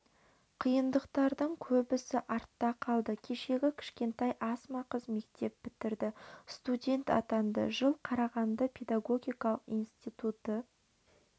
қиындықтардың көбісі артта қалды кешегі кішкентай асма қыз мектеп бітірді студент атанды жыл қарағанды педагогикалық институты